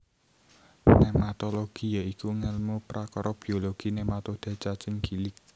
Nématologi ya iku ngèlmu prakara biologi nématoda cacing gilig